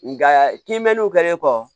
Nga kinbew kɛlen kɔ